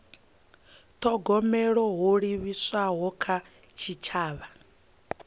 thogomela ho livhiswaho kha tshitshavha